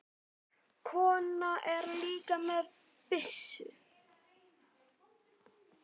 Konan er líka með byssu.